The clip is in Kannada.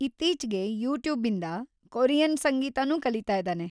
ಇತ್ತೀಚ್ಗೆ ಯೂಟ್ಯೂಬಿಂದ ಕೊರಿಯನ್ ಸಂಗೀತನೂ ಕಲೀತಾ ಇದಾನೆ.